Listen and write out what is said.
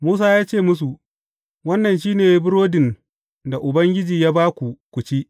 Musa ya ce musu, Wannan shi ne burodin da Ubangiji ya ba ku ku ci.